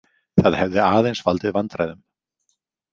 Það hefði aðeins valdið vandræðum.